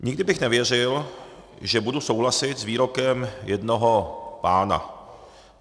Nikdy bych nevěřil, že budu souhlasit s výrokem jednoho pána.